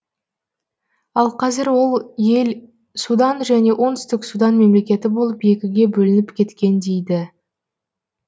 ал қазір ол ел судан және оңтүстік судан мемлекеті болып екіге бөлініп кеткен дейді